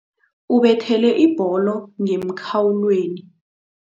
Ubethele ibholo ngemkhawulweni.